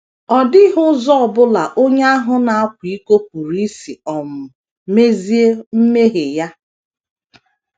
Ọ dịghị ụzọ ọ bụla onye ahụ na - akwa iko pụrụ isi um mezie mmehie ya.